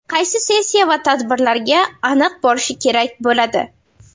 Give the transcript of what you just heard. Qaysi sessiya va tadbirlarga aniq borishi kerak bo‘ladi?